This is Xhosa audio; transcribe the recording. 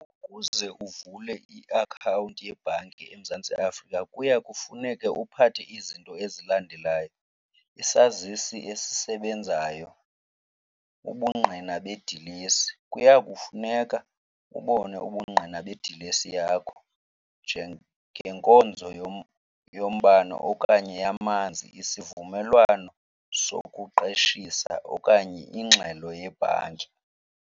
Ukuze uvule iakhawunti yebhanki eMzantsi Afrika kuya kufuneke uphathe izinto ezilandelayo, isazisi esisebenzayo, ubungqina bedilesi. Kuya kufuneka kubonwe ubungqina bedilesi yakho njengenkonzo yombane okanye yamanzi, isivumelwano sokuqeshisa okanye ingxelo yebhanki.